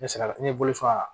Ne sera ne bolo yan